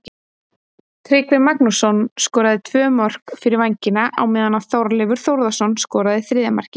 Tryggvi Magnússon skoraði tvö mörk fyrir Vængina á meðan að Hjörleifur Þórðarson skoraði þriðja markið.